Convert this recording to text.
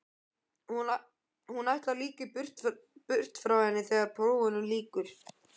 Hún ætlar líka burt frá henni þegar prófunum lýkur.